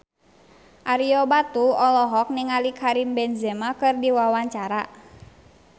Ario Batu olohok ningali Karim Benzema keur diwawancara